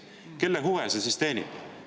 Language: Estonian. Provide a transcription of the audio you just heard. Kelle huve see siis teenib?